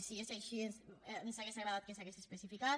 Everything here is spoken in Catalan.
si és així ens hauria agradat que s’hagués especificat